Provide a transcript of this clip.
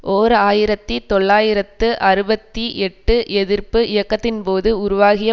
ஓர் ஆயிரத்தி தொள்ளாயிரத்து அறுபத்தி எட்டு எதிர்ப்பு இயக்கத்தின்போது உருவாகிய